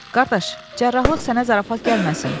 Qardaş, cərrahiyyəlik sənə zarafat gəlməsin.